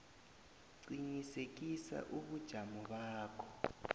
qinisekisa ubujamo bakho